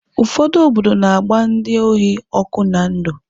Ụfọdụ obodo na-agba ndị ohi ọkụ na ndụ